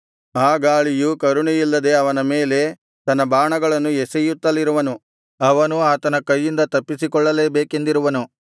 ಆ ಗಾಳಿಯು ಕರುಣೆ ಇಲ್ಲದೆ ಅವನ ಮೇಲೆ ತನ್ನ ಬಾಣಗಳನ್ನು ಎಸೆಯುತ್ತಲಿರುವನು ಅವನು ಆತನ ಕೈಯಿಂದ ತಪ್ಪಿಸಿಕೊಳ್ಳಲೇ ಬೇಕೆಂದಿರುವನು